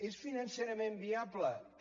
és financerament viable també